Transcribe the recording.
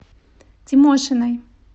тимошиной